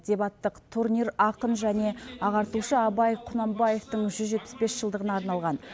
дебаттық турнир ақын және ағартушы абай құнанбаевтың жүз жетпіс бес жылдығына арналған